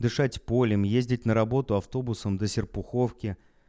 дышать полем ездить на работу автобусом до серпуховке